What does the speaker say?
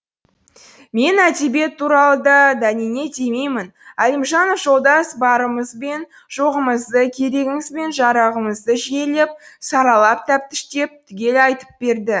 мен әдебиет туралы да дәнеңе демеймін әлімжанов жолдас барымыз бен жоғымызды керегіміз бен жарағымызды жүйелеп саралап тәптіштеп түгел айтып берді